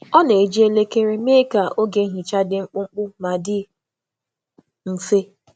Ọ na-eji elekere ka ọ mee oge nhicha dị mkpụmkpụ na n’ike, nke dị mfe ijikwa.